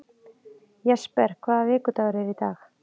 Jesper, hvaða vikudagur er í dag?